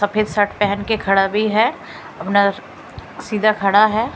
सफेद अम् शर्ट पहन के खड़ा भी है अपना सीधा खड़ा है ।